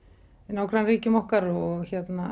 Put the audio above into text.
nágrannaríkjum okkar og